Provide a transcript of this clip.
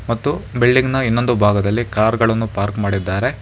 ಮತ್ತು ಬಿಲ್ಡಿಂಗ್ ನ ಇನ್ನೊಂದು ಭಾಗದಲ್ಲಿ ಕಾರ್ ಗಳನ್ನು ಪಾರ್ಕ್ ಮಾಡಿದ್ದಾರೆ.